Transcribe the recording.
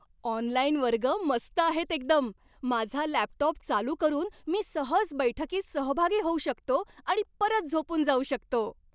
Online वर्ग मस्त आहेत एकदम. माझा लॅपटॉप चालू करून मी सहज बैठकीत सहभागी होऊ शकतो आणि परत झोपून जाऊ शकतो.